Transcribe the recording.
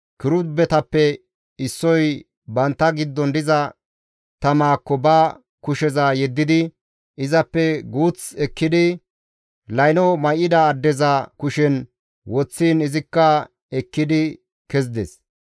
Kirubetappe issoy bantta giddon diza tamaakko ba kusheza yeddidi, izappe guuth ekkidi, layno may7ida addeza kushen woththiin izikka ekkidi kezides.